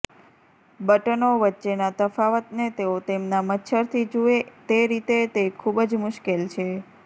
બટનો વચ્ચેના તફાવતને તેઓ તેમના મચ્છરથી જુએ તે રીતે તે ખૂબ જ મુશ્કેલ છે